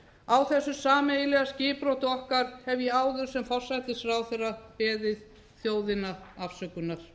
á þessu sameiginlega skipbroti okkar hef ég áður sem forsætisráðherra beðið þjóðina afsökunar